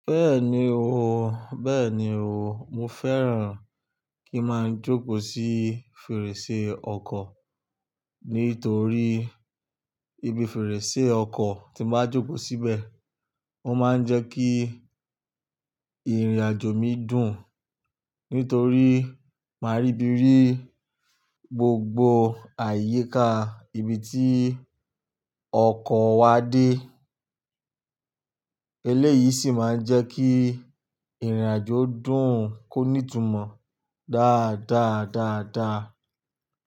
Bẹ́ẹ̀ni o, bẹ́ẹ̀ni o, mo fẹ́ràn kí máa ń jókòó sí fèrèsé ọkọ̀ nítorí ibi fèrèsé ọkọ̀ tí ń bá jókòó síbẹ̀, ó máa ń jẹ́ kí ìrìn-àjò mi dùn. Nítorí máa ríbí ri gbogbo àyíká ibi tí ọkọ̀ wa dé. Eléyìí sì máa ń jẹ́ kí ìrìn-àjò dùn kóní ìtumọ̀ dáadáa dáadáa.